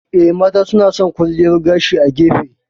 Eh, mata suna san kwalliyar gashi a gefe.